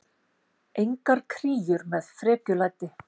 Engar kríur með frekjulæti.